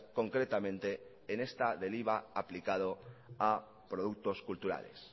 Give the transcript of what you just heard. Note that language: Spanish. concretamente en esta del iva aplicado a productos culturales